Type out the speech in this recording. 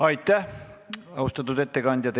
Aitäh, austatud ettekandja!